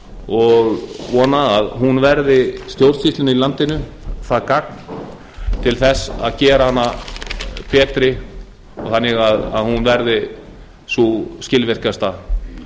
og vona að hún verði stjórnsýslunni í landinu það gagn til þess að gera hana betri þannig að hún verði sú skilvirkasta